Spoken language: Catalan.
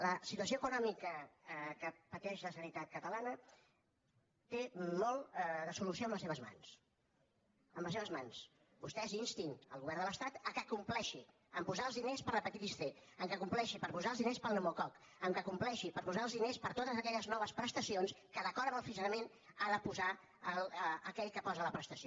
la situació econòmica que pateix la generalitat catalana té molt de solució en les seves mans en les seves mans vostès instin el govern de l’estat que compleixi a posar els diners per a l’hepatitis c que compleixi per posar els diners per al pneumococ que compleixi per posar els diners per a totes aquelles noves prestacions que d’acord amb el funcionament ha de posar aquell que posa la prestació